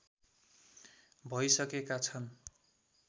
भैसकेका छन्